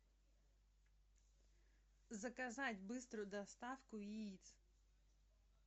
заказать быструю доставку яиц